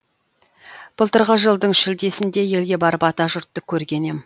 былтырғы жылдың шілдесінде елге барып атажұртты көрген ем